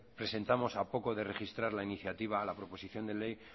presentamos a poco de registrar la iniciativa a la proposición de ley